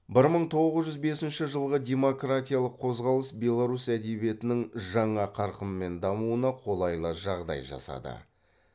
бір мың тоғыз жүз бесінші жылғы демократиялық қозғалыс беларусь әдебиетінің жаңа қарқынмен дамуына қолайлы жағдай жасады